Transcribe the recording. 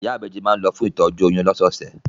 Ìyá ìbejì má ń lọ fún ìtọ́jú oyún lọ́sọ̀ọ̀sẹ̀